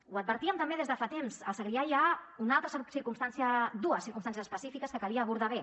ho advertíem també des de fa temps al segrià hi ha dues circumstàncies específiques que calia abordar bé